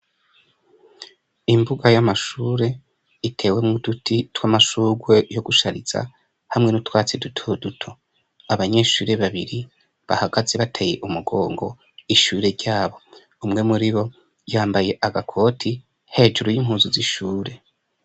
Imbuga y'amashure itewemwo uduti tw'amashurwe yo gushariza, hamwe n'utwatsi duto duto. Abanyeshure babiri, bahagaze bateye umugongo ishure ryabo. Umwe muri bo yambaye agakote, hejuru y'impuzu z'ishure.